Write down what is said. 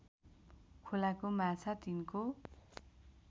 खोलाको माछा तिनको